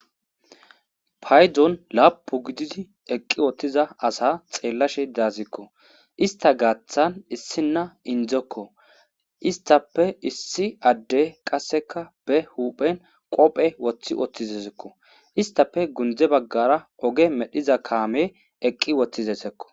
paydzon laapu gididi eqqi wottiza asa xeellashe daazikko ista gaaththan issinna indzekko istappe issi adde qasseka be huphen qophe woththi wottizesekko istape gundze baggara oge medhiza kaame eqqi wottizesekko